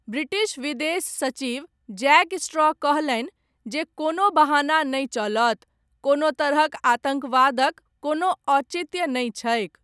British विदेश सचिव Jack Straw कहलनि, जे 'कोनो बहाना नहि चलत, कोनो तरहक आतङ्कवादक, कोनो औचित्य नहि छैक '।